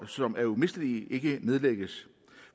som er umistelige ikke kan nedlægges